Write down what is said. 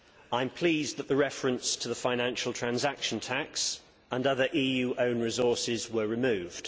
I am pleased that the references to the financial transaction tax and other EU own resources were removed.